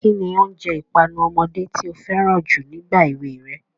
Kín ni oúnjẹ ìpanu ọmọdé tí o fẹ́ràn jù nígbà èwe rẹ?